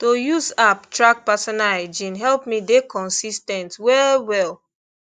to use app track personal hygiene help me dey consis ten t well well